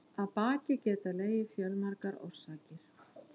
Að baki geta legið fjölmargar orsakir.